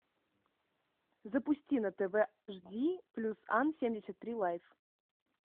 запусти на тв жди плюс ан семьдесят три лайф